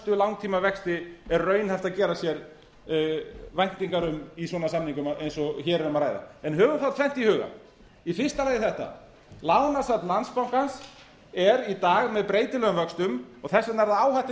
langtímavexti er raunhæft að gera sér væntingar um í svona samningum eins og hér er um að ræða höfum þá tvennt í huga í fyrsta lagi þetta lánasafn landsbankans er í dag með breytilegum vöxtum og þess vegna er það áhætta i